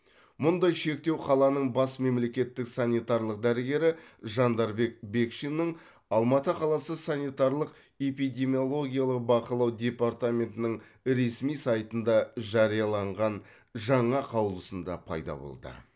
мұндай шектеу қаланың бас мемлекеттік санитарлық дәрігері жандарбек бекшиннің алматы қаласы санитарлық эпидемиологиялық бақылау департаментінің ресми сайтында жарияланған жаңа қаулысында пайда болды